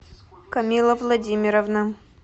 камилла владимировна